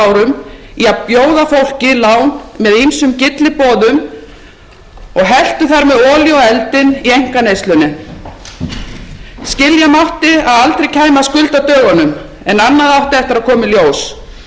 árum í að bjóða fólki lán með ýmsum gylliboðum og helltu þar með olíu á eldinn í einkaneyslunni skilja mátti að aldrei kæmi að skuldadögunum en annað átti eftir að koma í ljós yfirskuldsetning margra heimila og fyrirtækja